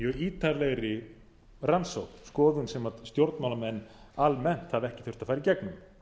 ítarlegri rannsókn skoðun sem stjórnmálamenn almennt hafa ekki þurft að fara í gegnum